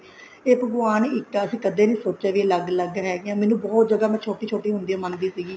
ਇਹ ਭਗਵਾਨ ਇੱਕ ਹੈ ਅਸੀਂ ਕਦੇ ਨੀ ਸੋਚਿਆ ਵੀ ਅਲੱਗ ਅਲੱਗ ਹੈਗੇ ਹਾਂ ਮੈਂ ਬਹੁਤ ਜਿਆਦਾ ਛੋਟੀ ਛੋਟੀ ਹੁੰਦੀ ਮੰਨਦੀ ਸੀਗੀ